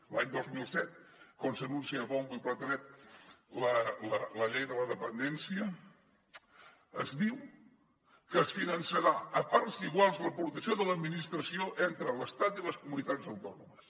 l’any dos mil set quan s’anuncia a so de bombo i platerets la llei de la dependència es diu que es finançarà a parts iguals l’aportació de l’administració entre l’estat i les comunitats autònomes